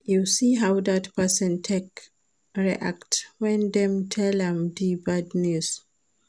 You see how dat person take react wen dem tell am di bad news?